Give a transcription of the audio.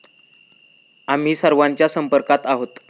आम्ही सर्वांच्या संपर्कात आहोत.